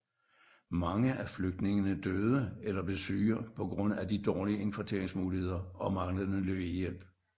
Mange af flygtningene døde eller blev syge på grund af de dårlige indkvarteringsmuligheder og manglende lægehjælp